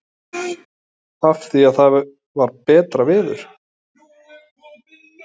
Lillý: Af því að það var betra veður?